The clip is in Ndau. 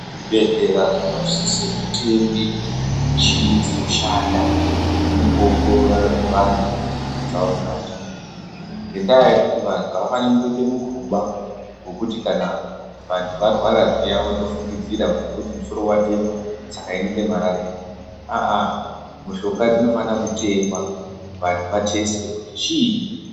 Zvibhedhlera zvinosise kutenge michini dzinoshanda mukuongorora vantu kunyama dzavo mukati umwu, ngendaa yekuti vantu avafani kungoite mukhuba wokuti kana vantu kana varwara zviya wondofungidzira ngekuti musoro watema saka inenge marariya, aa mishonga dzinofana kutengwa vantu vathesitwe kuti chiini.